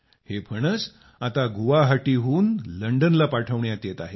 हे फणस आता गुवाहाटीहून लंडनला पाठविण्यात येत आहेत